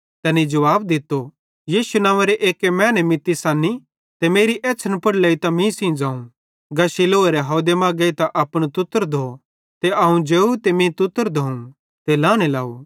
तैनी जुवाब दित्तो यीशु नंव्वेरे एक्की मैने मित्ती सन्नी ते मेरी एछ़्छ़न पुड़ लेइतां मीं सेइं ज़ोवं गा शीलोह हावदे मां गेइतां अपनू तुत्तर धो ते अवं जेव ते मीं तुत्तर धोवं ते लांने लाव